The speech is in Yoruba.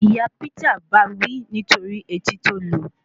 Ìyá Peter báa wí nítorí etí tí ó lu